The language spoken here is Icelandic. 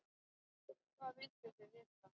Hvað vilduð þið vita?